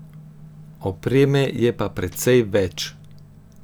Opreme je pa precej več...